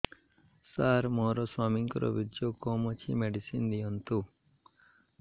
ସାର ମୋର ସ୍ୱାମୀଙ୍କର ବୀର୍ଯ୍ୟ କମ ଅଛି ମେଡିସିନ ଦିଅନ୍ତୁ